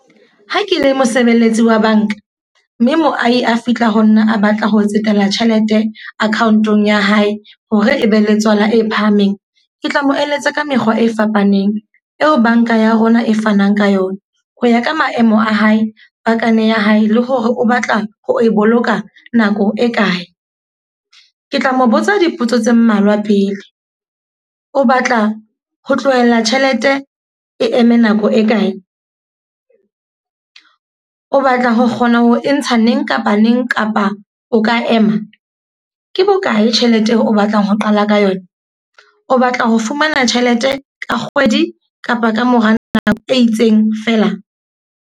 Ha ke le mosebeletsi wa banka, mme moahi a fihla ho nna a batla ho tsetela tjhelete account-ong ya hae hore e be le tswala e phahameng. Ke tla mo eletsa ka mekgwa e fapaneng, eo banka ya rona e fanang ka yona. Ho ya ka maemo a hae, pakane ya hae le hore o batla ho e boloka nako e kae. Ke tla mo botsa dipotso tse mmalwa pele. O batla ho tlohella tjhelete e eme nako e kae? O batla ho kgona ho e ntsha neng kapa neng, kapa o ka ema? Ke bokae tjhelete eo o batlang ho qala ka yona? O batla ho fumana tjhelete ka kgwedi kapa kamora nako e itseng fela?